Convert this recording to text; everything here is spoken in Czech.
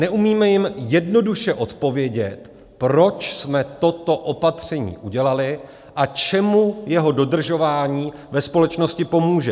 Neumíme jim jednoduše odpovědět, proč jsme toto opatření udělali a čemu jeho dodržování ve společnosti pomůže.